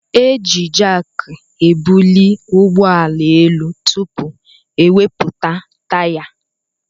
Eji jaaki ebuli ụgbọala élú tụpụ ewepụta taya.